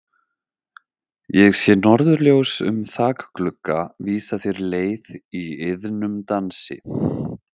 Ég sé norðurljós um þakglugga vísa þér leið í iðnum dansi.